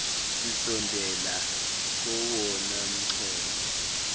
sisondela kowona mxholo